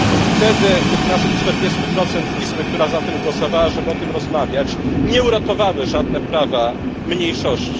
Wtedy tych naszych 40 izby, która za tym głosowała, żeby o tym rozmawiać, nie uratowały żadne prawa mniejszości.